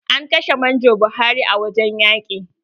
An kashe manjo Buhari a wurin yaƙi.